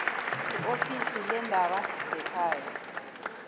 iofisi leendaba zekhaya